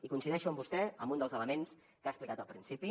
i coincideixo amb vostè amb un dels elements que ha explicat al principi